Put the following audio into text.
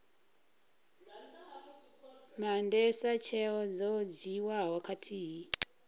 maandesa tsheo dzo dzhiiwaho khathihi